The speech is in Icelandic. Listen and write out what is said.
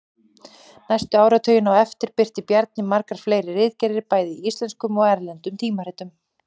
Næstu áratugina á eftir birti Bjarni margar fleiri ritgerðir bæði í íslenskum og erlendum tímaritum.